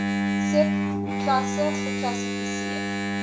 sub klasse geklassifiseer